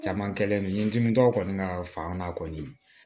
Caman kɛlen don n dimitɔw kɔni na faama kɔni